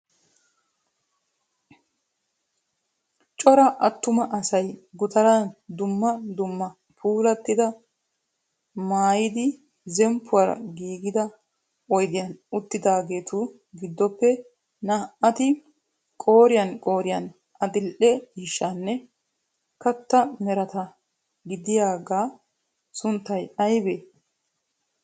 Cora atuma asay gutaran, dumma dumma puulatida maayidi zemppuwara giigida oydiyan uttidaageetu gidoppe naa"ati qooriyaan qooriyaan ay adil"e ciishshanne kattaa merattaara diyaaga sunttay aybee?